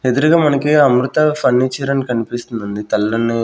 ఎదురుగా మనకి అమృత ఫర్నిచర్ అని కనిపిస్తుంది అండి తెల్లని--